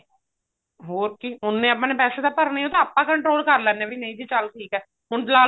ਹੋਰ ਕੀ ਉੰਨੇ ਆਪਾਂ ਨੇ ਪੈਸੇ ਤਾਂ ਭਰਨੇ ਆ ਉਹ ਤਾਂ ਆਪਾਂ control ਕਰ ਲੈਣੇ ਆ ਵੀ ਨਹੀਂ ਜੀ ਚੱਲ ਠੀਕ ਹੈ ਹੁਣ